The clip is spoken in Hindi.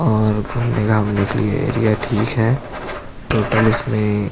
और घूमने घामने के लिए एरिया ठीक है टोटल इसमें --